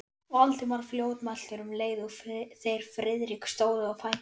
Valdimar fljótmæltur, um leið og þeir Friðrik stóðu á fætur.